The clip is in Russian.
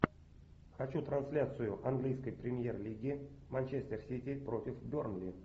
хочу трансляцию английской премьер лиги манчестер сити против бернли